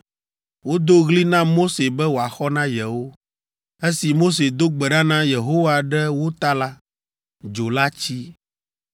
Wodo ɣli na Mose be wòaxɔ na yewo. Esi Mose do gbe ɖa na Yehowa ɖe wo ta la, dzo la tsi.